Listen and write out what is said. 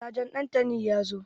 Sajan Ɗantani ya zo.